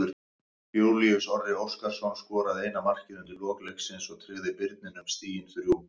Júlíus Orri Óskarsson skoraði eina markið undir lok leiksins og tryggði Birninum stigin þrjú.